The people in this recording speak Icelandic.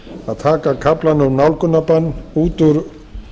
að taka kaflann um nálgunarbann út úr